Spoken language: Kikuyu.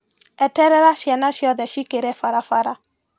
Eterera ciana ciothe cikĩre barabara.